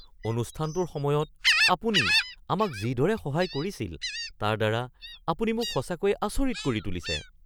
অনুষ্ঠানটোৰ সময়ত আপুনি আমাক যি দৰে সহায় কৰিছিল তাৰ দ্বাৰা আপুনি মোক সঁচাকৈয়ে আচৰিত কৰি তুলিছে!